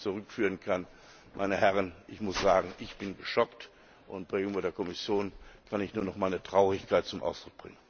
Dass man das nicht zurückführen kann, meine Herren, ich muss sagen, darüber bin ich geschockt, und bei der EU Kommission kann ich nur noch meine Traurigkeit zum Ausdruck bringen.